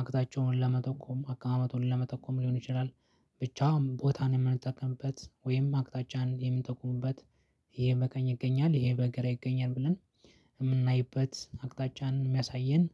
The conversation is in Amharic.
አቅጣጫውን ለመጠቆም አቀማመጡን ለመጠቆም ሊሆን ይችላል። ብቻ ቦታን የምንጠቀምበት ወይም አቅጣጫን የምንጠቁምበት። ይሄ በቀኝ ይገኛል ይሄ በግራ ይገኛል ብለን የምናይበት አቅጣጫን የሚያሳየን።